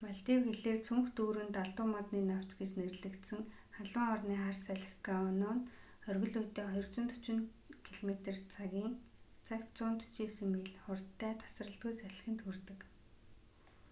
малдив хэлээр цүнх дүүрэн далдуу модны навч гэж нэрлэгдсэн халуун орны хар салхи гону нь оргил үедээ 240 километр цагийн цагт 149 миль хурдтай тасралтгүй салхинд хүрдэг